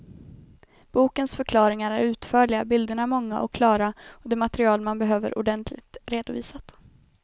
Bokens förklaringar är utförliga, bilderna många och klara, och det material man behöver ordentligt redovisat.